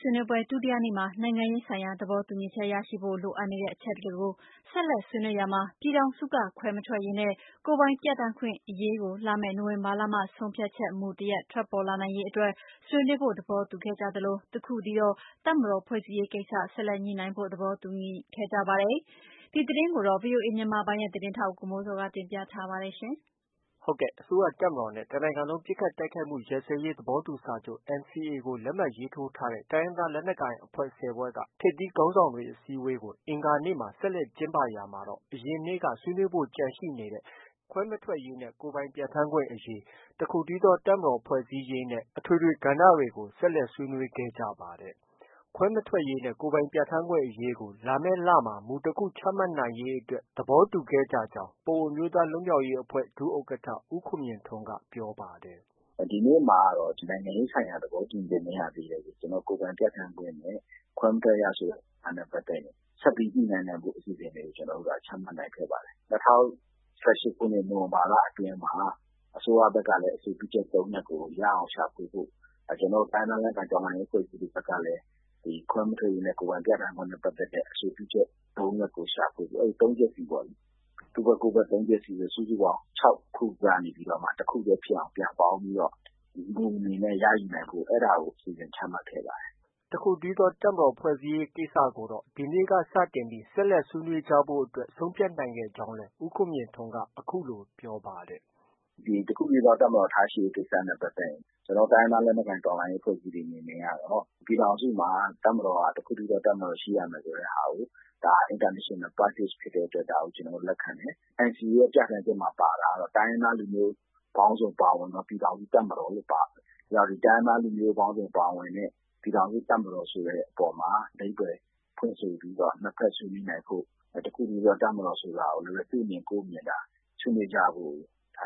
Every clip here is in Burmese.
ဆွေးနွေးပွဲ ဒုတိယနေ့မှာ နိုင်ငံရေးဆိုင်ရာ သဘောတူညီချက်ရရှိဖို့ လိုအပ်နေတဲ့အချက်တွေကို ဆက်လက်ဆွေးနွေးရာမှာ ပြည်ထောင်စုက ခွဲမထွက်ရေးနဲ့ ကိုယ်ပိုင်ပြဌာန်းခွင့်အရေးကို လာမယ့် နိုဝင်ဘာလမှ ဆုံးဖြတ်ချက် မူတစ်ခုထွက်ပေါ်လာနိုင်ရေးအတွက် ဆွေးနွေးဖို့သဘောတူခဲ့ကြသလိုအပါအဝင် တစ်ခုတည်းသော တပ်မတော်ဖွဲ့စည်းရေးကိစ္စ ဆက်လက်ညှိနှိုင်းဖို့ သဘောတူညီခဲ့ပါတယ်။ ဒီသတင်းကိုတော့ ဗွီအိုအေမြန်မာပိုင်းရဲ့ သတင်းထောက်ကိုမိုးဇော်က တင်ပြထားပါတယ်။ အစိုးရ၊ တပ်မတော်နဲ့ တစ်နိုင်ငံလုံးပစ်ခတ်တိုက်ခိုက်မှုရပ်စဲရေးသဘောတူစာချုပ် NCA လက်မှတ်ရေးထိုးထားတဲ့ တိုင်းရင်းသားလက်နက်ကိုင်အဖွဲ့ ၁၀ဖွဲ့က ထိပ်သီးခေါင်းဆောင်တွေ အစည်းအဝေးကို အင်္ဂါနေ့မှာ ဆက်လက်ကျင်းပရာမှာတော့ အရင်နေ့ကဆွေးနွေးဖို့ ကျန်ရှိနေတဲ့ နိုင်ငံရေးဆိုင်ရာ သဘောတူညီချက်ရရှိဖို့ လိုအပ်နေတဲ့ခွဲမထွက်ရေးနဲ့ ကိုယ်ပိုင်ပြဌာန်းခွင့်အရေး၊ တစ်ခုတည်းသော တပ်မတော်ဖွဲ့စည်းရေးနဲ့ အထွေထွေ ကဏ္ဍတွေကို ဆက်လက်ဆွေးနွေးခဲ့ကြပါတယ်။ ခွဲမထွက်ရေးနဲ့ ကိုယ်ပိုင်ပြဌာန်းခွင့်အရေးကို လာမယ့် လမှာ မူတခုချမှတ်နိုင်ရေးအတွက် သဘောတူခဲ့ကြောင်း ပအိုဝ်းအမျိုးသားလွတ်မြောက်ရေးအဖွဲ့ ဒုဥက္ကဌ ဦးခွန်မြင့်ထွန်းက ပြောပါတယ်။ “ ဒီနေ့မှာကတော့ နိုင်ငံရေးဆိုင်ရာ သဘောတူညီချက် မရသေးတဲ့ ကိုယ်ပိုင်ပြဌာန်းခွင့်နဲ့ ခွဲမထွက်ရ ဆိုတာနဲ့ပတ်သက်ရင် ဆက်ပြီးညှိနှိုင်းနိုင်မယ့် အစီအစဉ်တွေကို ကျနော်တို့ ချမှတ်နိုင်ခဲ့ပါတယ်။ ၂၀၁၈ခုနှစ် နိုဝင်ဘာလ အတွင်းမှာ အစိုးရဘက်ကလည်း အဆိုပြုချက် ၃ရပ်ကို ရအောင်ရှာဖွေဖို့၊ ကျနော်တို့ တိုင်းရင်းသားလက်နက်ကိုင် တော်လှန်ရေးအဖွဲ့အစည်းတွေဘက်ကလည်း ခွဲမထွက်ရေးနဲ့ ကိုယ်ပိုင်ပြဌာန်းခွင့်နဲ့ပတ်သက်တဲ့ အဆိုပြုချက် ၃ချက်ကိုရှာဖွေဖို့ ၊ အဲဒီ ၃ချက်စီပေါ့လေ။ သူ့ဘက် ကိုယ်ဘက် ၃ချက်စီ စုစုပေါင်း ၆ခုကနေပြီးတော့မှ တစ်ခုတည်းဖြစ်အောင် ပြန်ပေါင်းပြီး မူအနေနဲ့ ရယူဖို့ အဲဒါကို အစီအစဉ်ချမှတ်ခဲ့ပါတယ်။ ” တစ်ခုတည်းသောတပ်မတော်ဖွဲ့စည်းရေးကိစ္စကိုတော့ ဒီနေ့စတင်ပြီး ဆက်လက်ဆွေးနွေးကြဖို့အတွက် ဆုံးဖြတ်ခဲ့ကြောင်းလည်း ဦးခွန်မြင့်ထွန်းက အခုလို ပြောပါတယ်။ “ တစ်ခုတည်းသောတပ်မတော် ထားရှိရေးကိစ္စနဲ့ပတ်သက်ရင် ကျနော်တို့ တိုင်းရင်းသားလက်နက်ကိုင်အဖွဲ့အစည်းတွေ အနေနဲ့ကတော့ ပြည်ထောင်စုမှာ တစ်ခုတည်းသော တပ်မတော်ရှိရမယ်ဆိုတဲ့ဟာကို ဒါက International practice ဖြစ်တဲ့အတွက် ကျနော်တို့က လက်ခံတယ်။ NCA ရဲ့ ပြဌာန်းချက်မှာ ပါတာကတော့ တိုင်းရင်းသားလူမျိုး ပေါင်းစုံပါဝင်သော ပြည်ထောင်စုတပ်မတော်လို့ ပါတယ်။ အဲဒါကြောင့် တိုင်းရင်းသားလူမျိုးပေါင်းစုံပါဝင်တဲ့ ပြည်ထောင်စုတပ်မတော်ဆိုတဲ့အပေါ်မှာ အဓိပါ္ပယ်ဖွင့်ဆိုပြီးတော့ နှစ်ဘက် ဆွေးနွေးနိုင်ဖို့ တစ်ခုတည်းသော တပ်မတော်ဆိုတာကို သူ့အမြင် ကိုယ့်အမြင် ဆွေးနွေးကြဖို့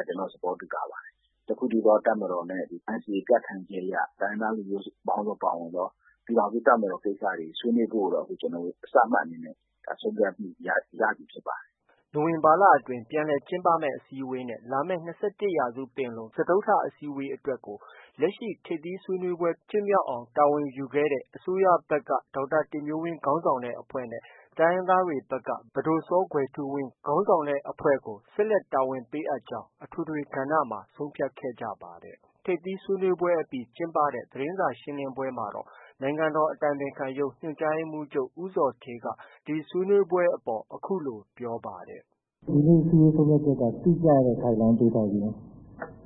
ကျနော်တို့ သဘောတူထားပါတယ်။ တစ်ခုတည်းသော တပ်မတော်နဲ့ NCA ပြဌာန်းချက်အရ တိုင်းရင်းသားလူမျိုးပေါင်းစုံ ပါဝင်တဲ့ ပြည်ထောင်စုတပ်မတော် ဆွေးနွေးဖို့ကိုတော့ အခု ကျနော်တို့ စမှတ်အနေနဲ့ ကျနော်တို့ ဆုံးဖြတ်မှုရပြီဖြစ်ပါတယ်။ ” နိုဝင်ဘာလအတွင်း ပြန်လည်ကျင်းပမယ့်အစည်းအဝေးနဲ့ လာမယ့် ၂၁ရာစုပင်လုံ စတုတ္ထအစည်းအဝေးအတွက်ကို လက်ရှိ ထိပ်သီးဆွေးနွေးပွဲဖြစ်မြောက်အောင်တာဝန်ယူခဲ့တဲ့ အစိုးရဘက်က ဒေါက်တာတင်မျိုးဝင်းခေါင်းဆောင်တဲ့ အဖွဲ့နဲ့ တိုင်းရင်းသားတွေဘက်က ပဒိုစောကွယ်ထူးဝင်းခေါင်းဆောင်တဲ့အဖွဲ့ကို ဆက်လက် တာဝန်ပေးအပ်ကြောင်း အထွေထွေကဏ္ဍမှာ ဆုံးဖြတ်ခဲ့ကြပါတယ်။ ထိပ်သီးဆွေးနွေးပွဲအပြီး ကျင်းပတဲ့ သတင်းစာရှင်းလင်းပွဲမှာတော့ နိုင်ငံတော်အတိုင်ပင်ခံရုံး ညွှန်ကြားရေးမှုးချုပ် ဦးဇော်ဌေးက ဒီဆွေးနွေးပွဲအပေါ် အခုလို ပြောပါတယ်။ “ ဒီနေ့ အစည်းအဝေးဆုံးဖြတ်ချက်က တိကျတဲ့ Guideline ပေးထားခြင်း အဲ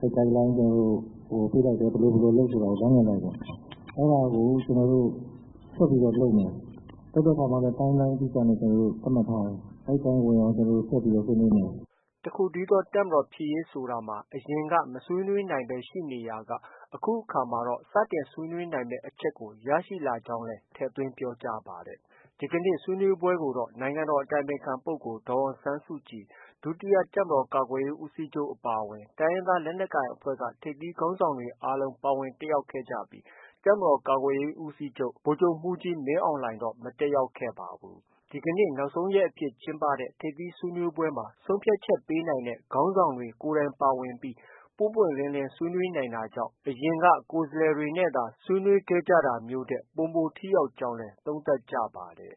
ဒီ Guideline ပေးလိုက်တယ် ဘယ်လို ဘယ်လိုလုပ်ဆို လမ်းညွှန်လိုက်တယ်။ အဲဒါကို ကျနော်တို့ ဆက်ပြီးတော့ လုပ်မယ်။ လုပ်တဲ့အခါမှာလည်း Timeline အတိအကျ ကျနော်တို့ သတ်မှတ်ထားတယ်။ အဲဒီအတိုင်း ဝင်အောင် ဆက်ပြီး ဆွေးနွေးမယ်။ ” တစ်ခုတည်းသောတပ်မတော်ဖြစ်ရေးဆိုတာမှာ အရင်က မဆွေးနွေးနိုင်ဘဲရှိနေရာက အခုအခါတော့ စတင်ဆွေးနွေးနိုင်မယ့် အချက်ကို ရရှိလာကြောင်းလည်း ထည့်သွင်းပြောကြားပါတယ်။ ဒီကနေ့ဆွေးနွေးပွဲကိုတော့ နိုင်ငံတော်အတိုင်ပင်ခံပုဂ္ဂိုလ်ဒေါ်အောင်ဆန်းစုကြည်၊ ဒုတိယတပ်မတော်ကာကွယ်ရေးဦးစီးချုပ်အပါအဝင် တိုင်းရင်းသားလက်နက်ကိုင်အဖွဲ့က ထိပ်သီးခေါင်းဆောင်တွေ အားလုံးပါဝင်တက်ရောက်ခဲ့ကြပြီး တပ်မတော်ကာကွယ်ရေးဦးစီးချုပ် ဗိုလ်ချုပ်မှုးကြီးမင်းအောင်လှိုင်တော့ မတက်ရောက်ခဲ့ပါဘူး။ ဒီကနေ့ နောက်ဆုံးရက်အဖြစ် ကျင်းပခဲ့တဲ့ ထိပ်သီးဆွေးနွေးပွဲမှာ ဆုံးဖြတ်ချက်ပေးနိုင်တဲ့ ခေါင်းဆောင်တွေ ကိုယ်တိုင်ပါဝင်ပြီး ပွင့်ပွင့်လင်းလင်းဆွေးနွေးနိုင်တာကြောင့် အရင် ကိုယ်စားလှယ်တွေနဲ့ ဆွေးနွေးခဲ့ကြတာမျိုးထက် ပိုမို ထိရောက်ခဲ့ကြောင်းလည်း သုံးသပ်ကြပါတယ်